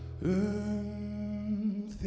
um þig